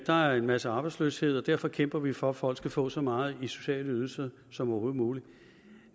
der er en masse arbejdsløshed og derfor kæmper vi for at folk skal få så meget i sociale ydelser som overhovedet muligt